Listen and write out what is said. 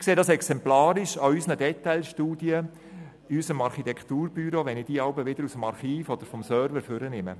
Ich sehe dies exemplarisch, wenn ich in unserem Architekturbüro Detailstudien aus dem Archiv oder dem Server hervorhole.